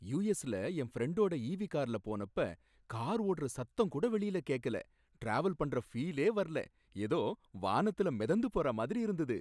யுஎஸ்ல என் ஃப்ரெண்டோட ஈவி கார்ல போனப்ப கார் ஓடுற சத்தம் கூட வெளில கேக்கல, டிராவல் பண்ற பீலே வரல, ஏதோ வானத்துல மிதந்து போற மாதிரி இருந்தது.